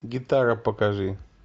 гитара покажи